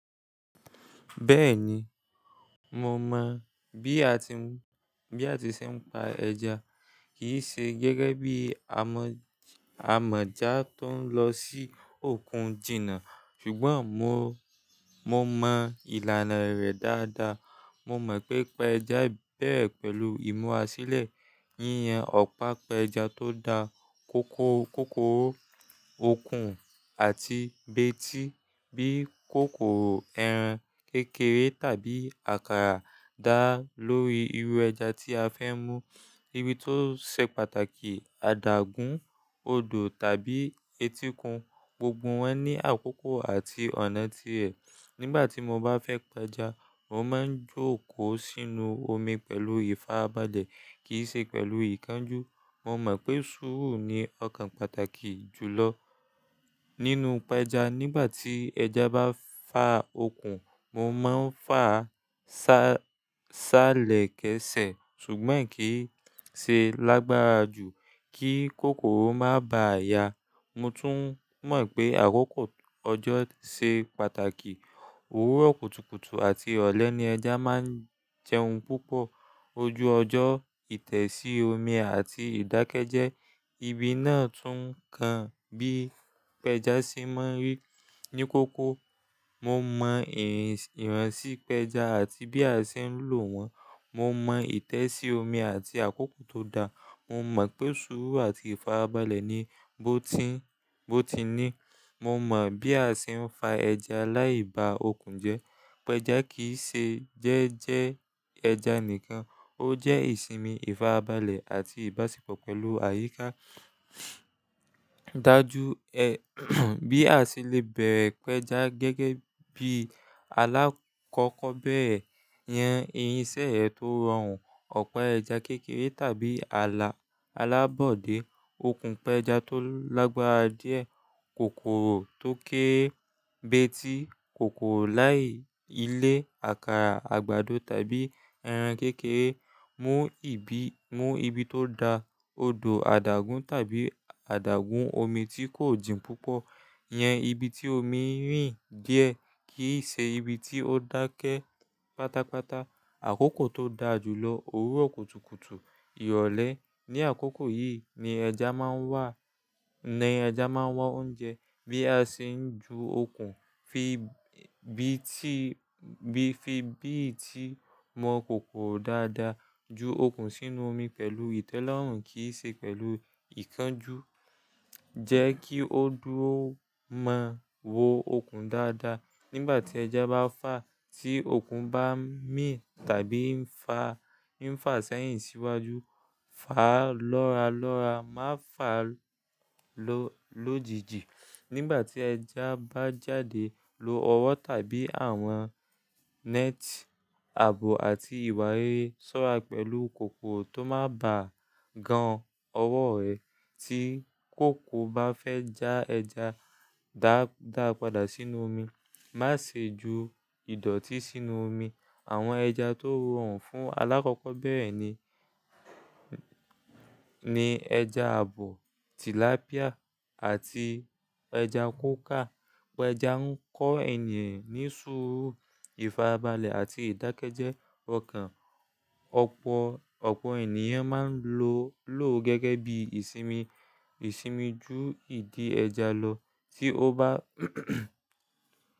Bẹ́ẹ̀ni, mo mọ̀ bí a ti ṣe ń pa ẹja, kì í ṣe gẹ́gẹ́ bí amọ̀já tó ń lọ sí òkun jìnnà, ṣùgbọ́n mo mọ ìlànà rẹ̀ dáadáa. Mo mọ pé pẹja bẹ̀rẹ̀ pẹ̀lú ìmúásílẹ̀, yíyan ọ̀pá pẹja tó da, kòkòrò òkun àti betí bí kòkòrò, ẹran kékeré tàbí àkàrà dá lórí irú ẹja tí a fẹ́ mú, ibi tó ṣe pàtàkì, adágún, odò tàbí etíkun, gbogbo wọn ní àkókò àti ọ̀nà ti ẹ̀. Nígbà tí mo bá fẹ́ pẹja, mo máa ń jókòó sínú omi pẹ̀lú ìfarabalẹ̀ kì í ṣe pẹ̀lú ìkánjú. Mo mọ̀ pé sùúrù ni ọ̀kan pàtàkì jùlọ nínú pẹja. Nígbà tí ẹja bá fà òkun, mo máa ń fà á ṣálẹ̀ kẹ́sẹ̀ ṣùgbọ́n kì í ṣe lágbára jù kí kòkòrò má bá a ya. Mo tún mọ̀ pé àkókò ọjọ́ ṣe pàtàkì, òwúrọ̀ kùtùkùtù àti ọ̀lẹ ni ẹja máa ń jẹun púpọ̀. Ojú ọjọ́, ìtẹ̀sí omi àti ìdákẹ́jẹ́, ibi náà tún kan bí pẹja ṣe máa ń rí ní kókó. Mo mọ ìráǹṣí pẹja àti bí a ṣe ń lò wọ́n, mo mọ ìtẹ̀sí omi àti àkókò tó da, mo mọ̀ pé sùúrù àti ìfarabalẹ̀ ni bó ti ní. Mo mọ bí a ṣe ń fa ẹja láì bá òkun jẹ́. Pẹja kì í ṣe jẹ́jẹ́ ẹja nìkan, ó jẹ́ ìsinmi, ìfarabalẹ̀ àti ìbáṣepọ̀ pẹ̀lú àyíká. Dá jú ẹ bí a ṣe lè bẹ̀rẹ̀ pẹja gẹ́gẹ́ bí alákọkọ bẹrẹ̀, iyen irinṣẹ́ ẹ tó rọrùn, ọ̀pá ẹja kékeré tàbí alábọ́dé, òkun pẹja tó lágbára díẹ̀, kòkòrò tó ké é, betí kòkòrò láì ilé, àkàrà, àgbàdo tàbí ẹran kékeré. Mú ibi tó da, odò, adágún tàbí adágún omi tí kò jìn púpọ̀, yan ibi tí omi rìn díẹ̀ kì í ṣe ibi tí ó dákẹ́ pátápátá. Àkókò tó dára jùlọ, òwúrọ̀ kùtùkùtù, ìrọ̀lẹ́. Ni àkókò yìí ni ẹja máa ń wá oúnjẹ. Bí a ṣe ń ju òkun, fi bíìtì mọ kòkòrò dáadáa, ju òkun sínú omi pẹ̀lú ìtẹ́lọ́rùn kì í ṣe pẹ̀lú ìkánjú. Jẹ́ kí ó dúró mọ wo òkun dáadáa. Nígbà tí ẹja bá fà, tí òkun bá mì tàbí ń fà sẹ́yìn síwájú, fà á lọ́ralọ́ra, má fà á lòjijì. Nígbà tí ẹja bá jáde, lo ọwọ́ tàbí àwọn net, abo àti ìwà rere sọ́ra pẹ̀lú kòkòrò tó má bá gan-an ọwọ́ rẹ. Tí kòkòrò bá fẹ́ já ẹja, dá a padà sínú omi. Má ṣe ju ìdọ̀tí sínú omi. Àwọn ẹja tó rọrùn fún alákọkọ bẹ́ẹ̀ ni ẹja abo, tìlàpíà àti ẹja kóka. Pẹja ń kọ́ ènìyàn ní sùúrù, ìfarabalẹ̀ àti ìdákẹ́jẹ́ okan. Ọ̀pọ̀ ènìyàn máa ń lò ó gẹ́gẹ́ bí ìsinmi, ju ìdí ẹja lọ tí ó bá.